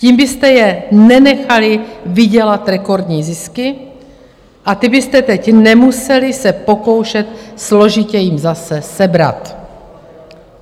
Tím byste je nenechali vydělat rekordní zisky a ty byste teď nemuseli se pokoušet složitě jim zase sebrat.